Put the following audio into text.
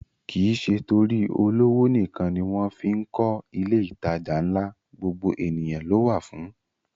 Kìí ṣe torí olówó nìkan ni wọ́n fí ń kọ ilé ìtajà ńlá, gbogbo ènìyàn ló wà fún